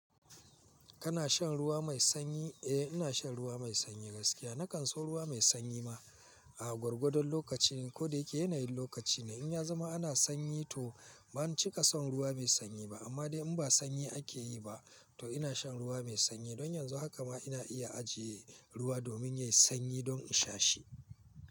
Kana shan ruwa mai sanyi? Eh ina shan ruwa mai sanyi gaskiya. Nakan so ruwa mai sanyi ma a gwargwadon lokaci ko da yake yanayin lokaci ne. In ya zama ana sanyi to bani cika son ruwa mai sanyi ba amma dai in ba sanyi ake yi ba to ina shan ruwa mai sanyi. Don yanzu haka ma ina iya ajiye ruwa domin yayi sanyi don in sha shi.